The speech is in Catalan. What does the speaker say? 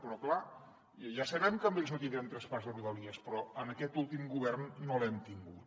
però clar ja sabem que amb ells no tindrem traspàs de rodalies però en aquest últim govern no l’hem tingut